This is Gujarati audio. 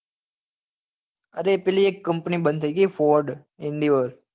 અરે પેલી એક company બંદ થઇ ગયી ford endeavour